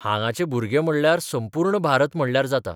हांगाचे भुरगे म्हणल्यार संपूर्ण भारत म्हणल्यार जाता.